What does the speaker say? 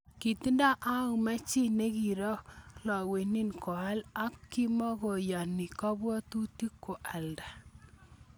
Kitindo Auma chi nekiragolewen koal, ak kimokoyani kabwotutik koalda.